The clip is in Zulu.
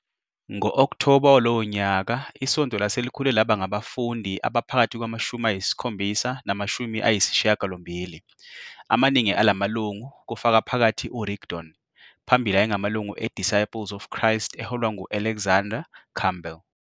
Ngo-Okthoba walowo nyaka, isonto lase likhule laba ngabafundi abaphakathi kwamashumi ayisikhombisa namashumi ayisishiyagalombili. Amaningi ala malungu, kufaka phakathi uRigdon, phambilini ayengamalungu eDisciples of Christ eholwa ngu- Alexander Campbell.